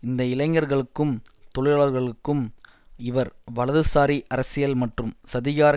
இந்த இளைஞர்களுக்கும் தொழிலாளர்களுக்கும் இவர் வலதுசாரி அரசியல் மற்றும்சதிகார